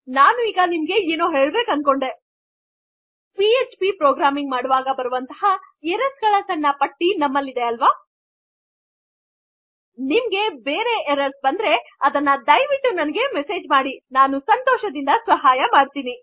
ನಾನು ಈಗ ನಿಮಗೆ ಹೇಳಬೇಕೆಂದುಕೊಂಡೆ ಆಗಾದರೆ ಪಿಎಚ್ಪಿ ಪ್ರೊಗ್ರಾಮಿಂಗ್ ಮಾಡುವಾಗ ಬರುವನ್ತಹ ಎರ್ರರ್ಸ್ ಗಳ ಸಣ್ ಪಟ್ಟಿಯೇ ಇದೆ ಅಲ್ ನಿಮಗೆ ಬೇರೆ ಎರ್ರರ್ಸ್ ಬಂದರೆ ದೊರೆಯುತ್ತಿದ್ದರೆ ಆದ ದಯವಿಟ್ಟು ನನಗೆ ಮೆಸೆಜ್ ಮಾಡಿ ಮತ್ತು ನಾನು ಸಂತೋಷದಿಂದ ಸಹಾಯಮಾಡುವೆನು